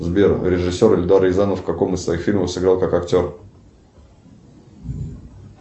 сбер режиссер эльдар рязанов в каком из своих фильмов сыграл как актер